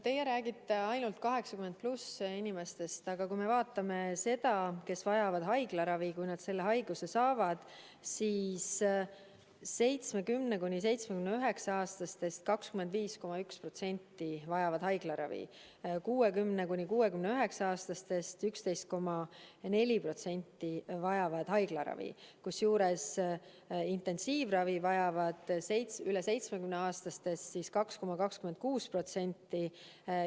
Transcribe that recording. Teie räägite ainult vanuses 80+ inimestest, aga kui me vaatame seda, kes vajavad haiglaravi, kui nad selle haiguse saavad, siis 70–79‑aastastest 25,1% vajab haiglaravi ja 60–69‑aastastest 11,4% vajab haiglaravi, kusjuures intensiivravi vajab üle 70‑aastastest 2,26%.